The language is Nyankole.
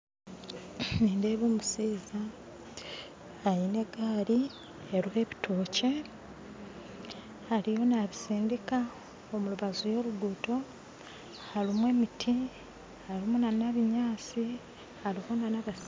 Nindeeba omushaija aine egaari eriho ebitookye ariyo nabisindiika omurubaju y'oruguto harimu emiti harimu n'ebinyaatsi hariho na n'abatsigazi